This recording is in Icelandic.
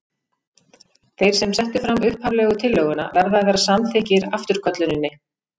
Þeir sem settu fram upphaflegu tillöguna verða að vera samþykkir afturkölluninni.